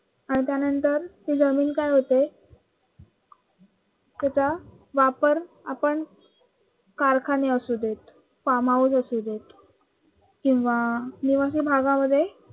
आणि त्यानंतर ती जमीन काय होते तिचा वापर आपण कारखाने असूदेत farmhouse असूदेत किंवा निवासी भागामध्ये